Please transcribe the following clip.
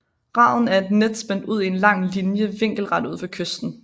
Raden er et net spændt ud i en lang linje vinkelret ud fra kysten